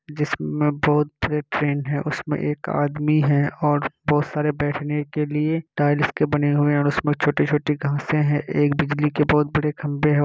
जिसमें बहुत बड़े ट्रैन है उसमें एक आदमी है और बहुत सारे बैठने के लिए टाइल्स के बने हुए हैं और उसमें छोटी-छोटी घासें हैं एक बिजली के बहुत बड़े खंबे हैं।